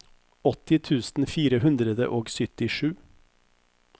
åtti tusen fire hundre og syttisju